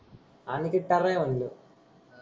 अनिकेत टर्रा आहे मनलो